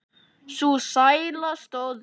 Sú sæla stóð stutt.